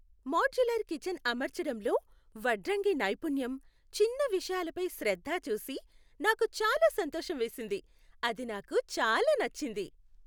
Modular kitchen అమర్చడంలో వడ్రంగి నైపుణ్యం, చిన్న విషయాలపై శ్రద్ధ చూసి నాకు చాలా సంతోషం వేసింది. అది నాకు చాలా నచ్చింది.